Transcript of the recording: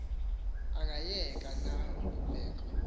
angayeka na kubekho